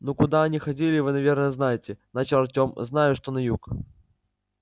ну куда они ходили вы наверное знаете начал артём знаю что на юг